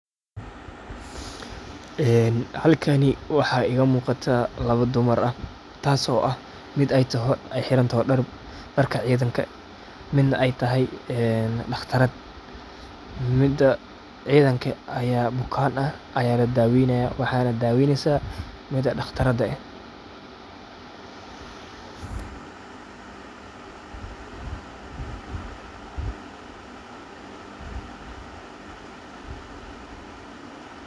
halkani waxa iga muqata laba dumar aah taso mid eey xirantahy daarka cidanka mid ne eey tahy daqtarad mida cidanka aya bukan aah aya ladaweynaya waxana daweynaysa mida daqtarada aah